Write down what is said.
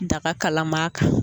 Daga kalama kan